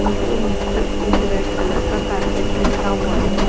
उनके नीचे एक रेड कलर का कारपेट बिछा हुआ है।